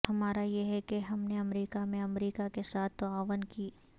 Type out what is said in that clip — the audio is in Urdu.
ہمارا یہ ہے کہ ہم نے امریکہ میں امریکہ کے ساتھ تعاون کی